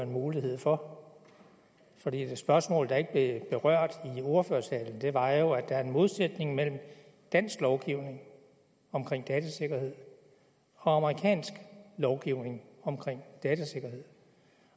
mulighed for for det spørgsmål der ikke berørt i ordførertalen var jo at der er en modsætning mellem dansk lovgivning om datasikkerhed og amerikansk lovgivning om datasikkerhed